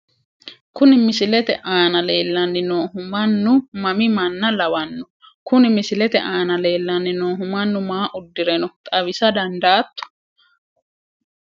Kuni misilete aana leellanni noohu mannu mami manna lawanno? Kuni misilete aana leellanni noohu mannu maa uddire no? xawisa dandaatto?